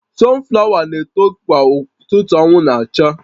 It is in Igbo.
Sunflower na-eto kwa ụtụtụ anwụ na-acha